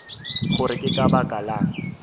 gore ke ka baka lang